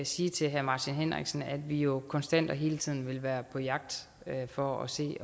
sige til herre martin henriksen at vi jo konstant og hele tiden vil være på jagt for at se